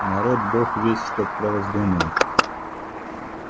народ бог весть что про вас думает